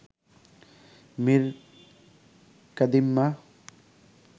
Mir কাদিইম্যা